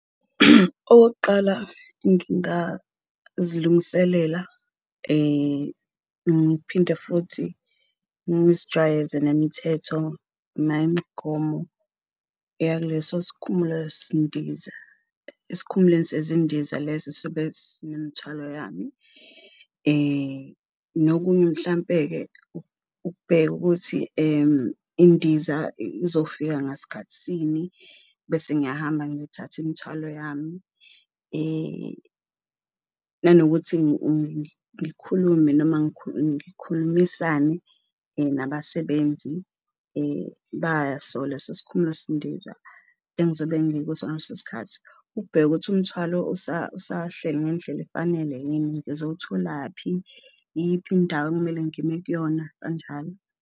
Okokuqala, ngingazilungiselela ngiphinde futhi ngizijwayeze nemithetho nayo imigomo eyakuleso esikhumulweni sezindiza leso esobe sinemithwalo yami nokunye mhlampe-ke ukubheka ukuthi indiza izofika ngasikhathisini bese ngiyahamba ngiyothatha imthwalo yami. Nanokuthi ngikhulume noma ngikhulumisane nabasebenzi baso leso sikhumulo sendiza engizobe ngikuso ngaleso sikhathi ukubheka ukuthi umthwalo usahleli ngendlela efanele yini, ngizowutholaphi, iyiphi indawo okumele ngime kuyona kanjalo.